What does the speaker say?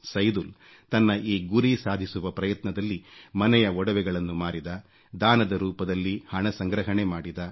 ಸೈದುಲ್ ತನ್ನ ಈ ಗುರಿ ಸಾಧಿಸುವ ಪ್ರಯತ್ನದಲ್ಲಿ ಮನೆಯ ಒಡವೆಗಳನ್ನು ಮಾರಿದ ದಾನದ ರೂಪದಲ್ಲಿ ಹಣ ಸಂಗ್ರಹಣೆ ಮಾಡಿದ